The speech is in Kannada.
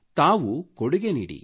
ತಾವು ಕೊಡುಗೆ ನೀಡಿರಿ